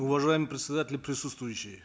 уважаемый председатель и присутствующие